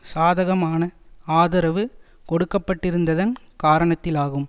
சாதகமான ஆதரவு கொடுக்கப்பட்டிருந்ததன் காரணத்தினாலாகும்